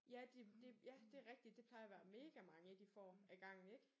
Ja de det ja det rigtigt det plejer at være megamange de får ad gangen ik